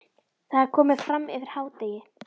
Það er komið fram yfir hádegi.